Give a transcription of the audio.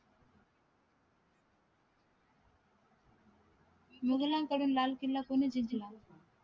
मूघालनकडून लाल किल्ला कोणी जिंकला